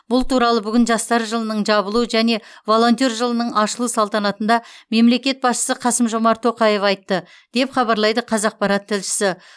бұл туралы бүгін жастар жылының жабылу және волонтер жылының ашылу салтанатында мемлекет басшысы қасым жомарт тоқаев айтты деп хабарлайды қазақпарат тілшісі